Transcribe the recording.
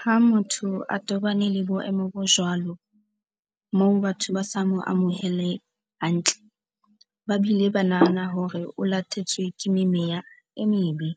Ha motho a tobane le boemo bo jwalo moo batho ba sa mo amohele hantle. Ba bile ba nahana hore o latetswe ke meya e mebe,